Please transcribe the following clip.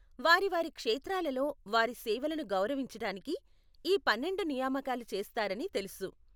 వారి వారి క్షేత్రాలలో వారి సేవలను గౌరవించటానికి ఈ పన్నెండు నియామకాలు చేస్తారని తెలుసు.